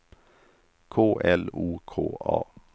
K L O K A